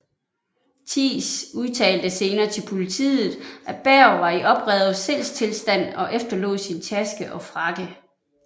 Thiess udtalte senere til politet at Berg var i oprevet sindstilstand og efterlod sin taske og frakke